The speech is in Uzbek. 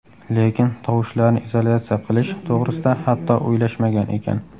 Lekin tovushlarni izolyatsiya qilish to‘g‘risida hatto o‘ylashmagan ekan.